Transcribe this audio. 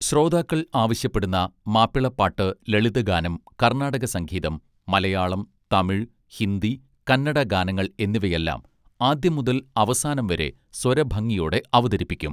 ശ്രോതാക്കൾ ആവശ്യപ്പെടുന്ന മാപ്പിളപ്പാട്ട് ലളിതഗാനം കർണാടക സംഗീതം മലയാളം തമിഴ് ഹിന്ദി കന്നഡ ഗാനങ്ങൾ എന്നിവയെല്ലാം ആദ്യം മുതൽ അവസാനം വരെ സ്വരഭംഗിയോടെ അവതരിപ്പിക്കും